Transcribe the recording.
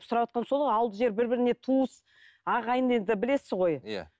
сұраватқаным сол ғой ауылды жер бір біріне туыс ағайын енді білесіз ғой иә